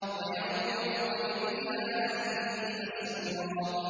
وَيَنقَلِبُ إِلَىٰ أَهْلِهِ مَسْرُورًا